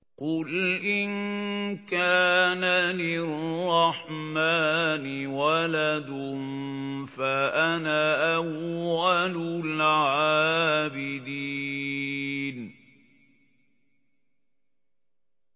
قُلْ إِن كَانَ لِلرَّحْمَٰنِ وَلَدٌ فَأَنَا أَوَّلُ الْعَابِدِينَ